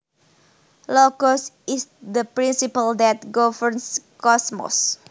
Logos is the principle that governs cosmos